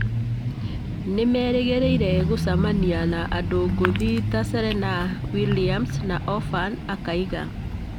Nĩmerĩgĩrĩire gũcemania na andũ ngũthi ta Serenah Williams na Oprah’’ akauga